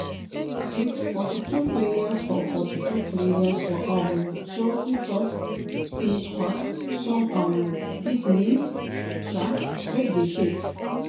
wit forty-two players for forty-two players for um chelsea first-team squad some um big names um leg dey shake.